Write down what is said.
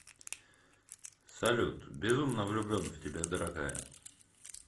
салют безумно влюблен в тебя дорогая